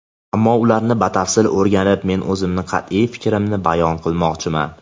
ammo ularni batafsil o‘rganib men o‘zimning qat’iy fikrimni bayon qilmoqchiman.